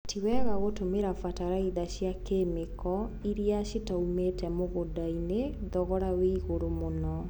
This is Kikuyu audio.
Tiwega gũtũmĩra bataraitha cia kemiko iria citaumĩte mũgũndainĩ, thogora wĩigũrũ mũno..